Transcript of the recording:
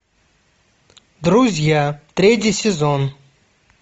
друзья третий сезон